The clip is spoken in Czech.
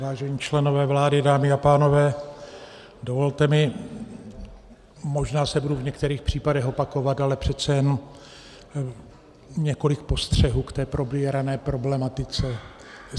Vážení členové vlády, dámy a pánové, dovolte mi, možná se budu v některých případech opakovat, ale přece jen několik postřehů k té probírané problematice.